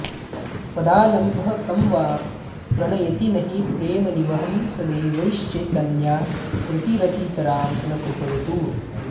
पदालम्बः कं वा प्रणयति नहि प्रेमनिवहं स देवश्चैतन्याकृतिरतितरां नः कृपयतु